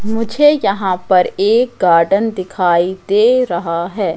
मुझे यहां पर एक गार्डन दिखाई दे रहा है।